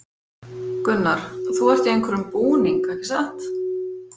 Gunnar: Þú ert í einhverjum búning, ekki satt?